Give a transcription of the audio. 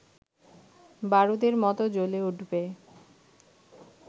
বারুদের মতো জ্বলে উঠবে